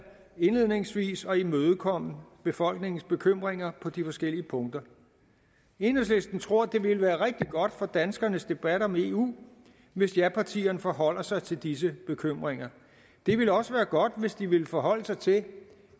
indledningsvis forsøger at imødekomme befolkningens bekymringer på de forskellige punkter enhedslisten tror det ville være rigtig godt for danskernes debat om eu hvis japartierne forholder sig til disse bekymringer det ville også være godt hvis de ville forholde sig til